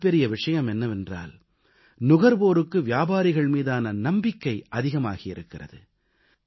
மிகப்பெரிய விஷயம் என்னவென்றால் நுகர்வோருக்கு வியாபாரிகள் மீதான நம்பிக்கை அதிகமாகியிருக்கிறது